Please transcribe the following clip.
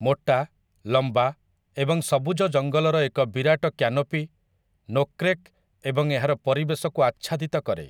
ମୋଟା, ଲମ୍ବା, ଏବଂ ସବୁଜ ଜଙ୍ଗଲର ଏକ ବିରାଟ କ୍ୟାନୋପି ନୋକ୍ରେକ୍ ଏବଂ ଏହାର ପରିବେଶକୁ ଆଚ୍ଛାଦିତ କରେ ।